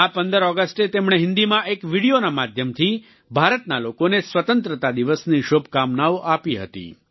આ 15 ઓગસ્ટે તેમણે હિંદીમાં એક વીડિયોના માધ્યમથી ભારતના લોકોને સ્વતંત્રતા દિવસની શુભકામનાઓ આપી હતી